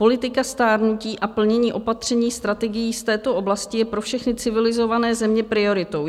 Politika stárnutí a plnění opatření strategií z této oblasti je pro všechny civilizované země prioritou.